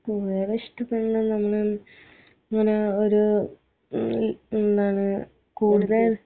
കൂടുതൽ ഇഷ്ട്ടപെടുന്ന പഞ്ഞ ഇങ്ങനെ ഒരു ഈ എന്താണ് കൂടുതൽ